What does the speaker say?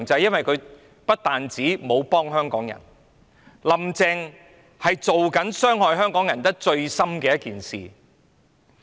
因為"林鄭"不但沒有幫香港人，反而正在做一件傷害香港人最深的事。